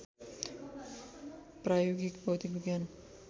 प्रायोगिक भौतिक विज्ञान